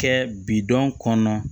Kɛ bidɔn kɔnɔ